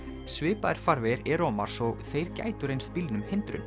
svipaðir farvegir eru á Mars og þeir gætu reynst bílnum hindrun